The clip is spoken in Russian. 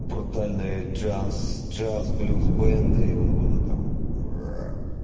брутальные джаз джаз блюз бэнды буду там аа